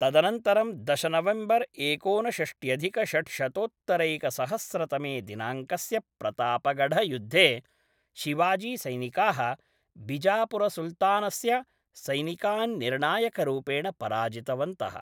तदनन्तरं दश नवेम्बर् एकोनषष्ट्यधिकषड्शतोत्तरैकसहस्रतमे दिनाङ्कस्य प्रतापगढयुद्धे, शिवाजीसैनिकाः बिजापुरसुल्तनतस्य सैनिकान् निर्णायकरूपेण पराजितवन्तः।